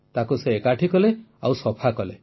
ତାକୁ ସେ ଏକାଠି କଲେ ଓ ସଫା କଲେ